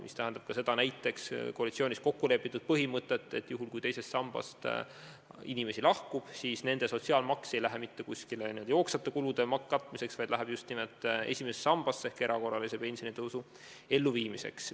See tähendab ka seda koalitsioonis kokkulepitud põhimõtet, et kui teisest sambast inimesi lahkub, siis nende sotsiaalmaks ei lähe mingite jooksvate kulude katmiseks, vaid läheb just nimelt esimesse sambasse ehk erakorralise pensionitõusu elluviimiseks.